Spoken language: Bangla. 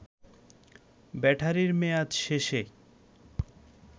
ব্যাটারির মেয়াদ শেষে